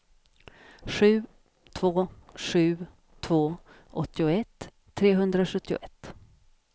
sju två sju två åttioett trehundrasjuttioett